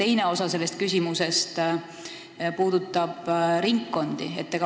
Teine osa minu küsimusest puudutab ringkondi.